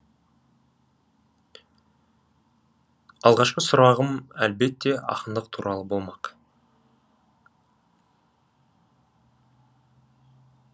алғашқы сұрағым әлбетте ақындық туралы болмақ